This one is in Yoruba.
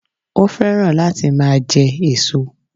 Ó féràn láti máa je èso